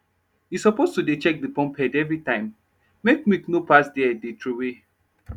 u suppose to dey check de pump head everytime make milk nor pass there dey troway